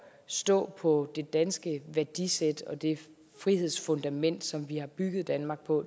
stå på det danske værdisæt og det frihedsfundament som vi har bygget danmark på